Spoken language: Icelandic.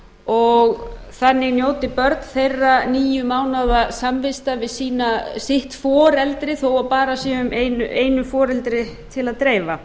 og þannig njóti börn þeirra níu mánaða samvistar við sitt foreldri þó bara sé einu foreldri til að dreifa